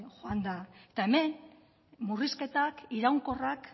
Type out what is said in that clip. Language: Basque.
joan da eta hemen murrizketak iraunkorrak